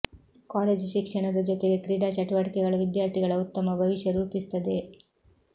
college ಶಿಕ್ಷಣದ ಜೊತೆಗೆ ಕ್ರೀಡಾ ಚಟುವಟಿಕೆಗಳು ವಿದ್ಯಾರ್ಥಿಗಳ ಉತ್ತಮ ಭವಿಷ್ಯ ರೂಪಿಸುತ್ತದೆ